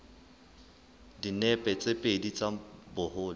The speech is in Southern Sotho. dinepe tse pedi tsa boholo